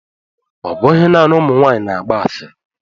Ọ bụghị naanị ụmụ nwanyị na-agba asịrị.